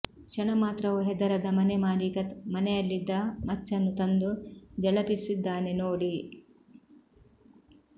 ಕ್ಷಣಮಾತ್ರವೂ ಹೆದರದ ಮನೆ ಮಾಲೀಕ ಮನೆಯಲಿದ್ದ ಮಚ್ಚನ್ನು ತಂದು ಝಳಪಿಸಿದ್ದಾನೆ ನೋಡಿ